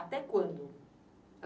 Até quando?